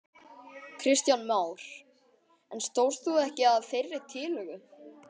Kristján Már: En stóðst þú ekki að þeirri tillögu?